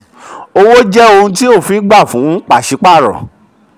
34. owó jẹ́ ohun tí òfin gba fún pàṣípàrọ̀.